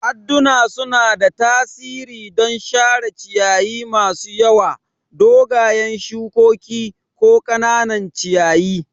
Adduna suna da tasiri don share ciyayi masu yawa, dogayen shukoki, ko ƙananan ciyayi.